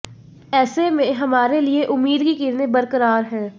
एसे में हमारे लिए उम्मीद की किरणें बरकरार हैं